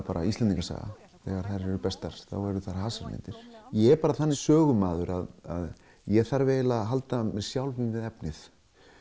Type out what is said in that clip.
bara Íslendingasaga þegar þær eru bestar eru það hasarmyndir ég er þannig sögumaður að ég þarf að halda sjálfum mér við efnið